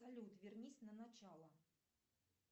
салют вернись на начало